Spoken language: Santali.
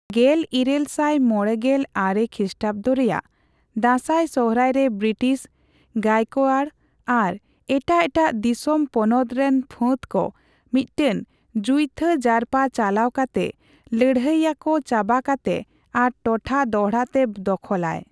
ᱜᱮᱞᱤᱨᱟᱹᱞᱥᱟᱴ ᱢᱚᱲᱮᱜᱮᱞ ᱟᱨᱮ ᱠᱨᱤᱥᱴᱟᱵᱫᱚ ᱨᱮᱭᱟᱜ ᱫᱟᱸᱥᱟᱭᱼᱥᱚᱦᱨᱟᱭ ᱨᱮ ᱵᱨᱤᱴᱤᱥ, ᱜᱟᱭᱚᱠᱳᱭᱟᱲ ᱟᱨ ᱮᱴᱟᱜ ᱮᱴᱟᱜ ᱫᱤᱥᱚᱢ ᱯᱚᱱᱚᱛ ᱨᱮᱱ ᱯᱷᱟᱹᱫᱠᱚ ᱢᱤᱫᱴᱟᱝ ᱡᱩᱭᱛᱷᱟᱹ ᱡᱟᱨᱯᱟ ᱪᱟᱞᱟᱣ ᱠᱟᱛᱮ ᱞᱟᱹᱲᱦᱟᱹᱭᱤᱭᱟᱹᱠᱚ ᱪᱟᱵᱟ ᱠᱟᱛᱮ ᱟᱨ ᱴᱚᱴᱷᱟ ᱫᱚᱲᱦᱟ ᱛᱮ ᱫᱚᱠᱷᱚᱞᱟᱭ ᱾